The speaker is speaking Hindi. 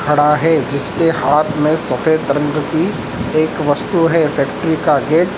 खड़ा है जिस पर हाथ में सफेद रंग की एक वस्तु है फैक्ट्री का गेट --